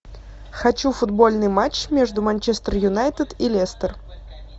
хочу футбольный матч между манчестер юнайтед и лестер